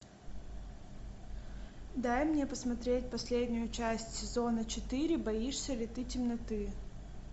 дай мне посмотреть последнюю часть сезона четыре боишься ли ты темноты